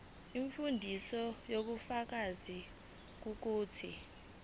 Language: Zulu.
umfundisi ubufakazi bokuthi